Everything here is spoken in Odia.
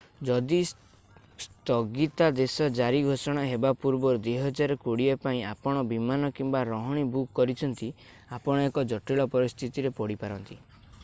ଯଦି ସ୍ଥଗିତାଦେଶ ଜାରି ଘୋଷୋଣା ହେବା ପୂର୍ବରୁ 2020 ପାଇଁ ଆପଣ ବିମାନ କିମ୍ବା ରହଣି ବୁକ କରିଛନ୍ତି ଆପଣ ଏକ ଜଟିଳ ପରିସ୍ଥିତିରେ ପଡି ପାରନ୍ତି